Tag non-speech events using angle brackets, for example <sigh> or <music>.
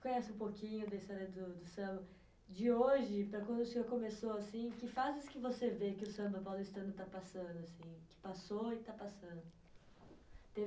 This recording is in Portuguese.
conhece um pouquinho da história do, do samba. De hoje para quando o senhor começou, assim, que fases que você vê que o samba paulistano está passando, assim, que passou e está passando? <unintelligible>